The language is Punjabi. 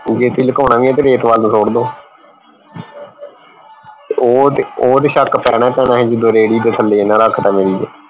ਜੇ ਤੁਸੀਂ ਲੁਕਾਉਣਾ ਵੀ ਹੈ ਤਾਂ ਰੇਤ ਵੱਲ ਨੂੰ ਸੁੱਟ ਦੋ ਉਹ ਉਹ ਤੇ ਸ਼ੱਕ ਪੈਣਾ ਪੈਣਾ ਸੀ ਜਦੋਂ ਰੇਹੜੀ ਦੇ ਥੱਲੇ ਇਹਨਾਂ ਰੱਖ ਤਾ